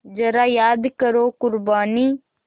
ज़रा याद करो क़ुरबानी